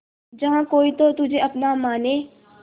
जहा कोई तो तुझे अपना माने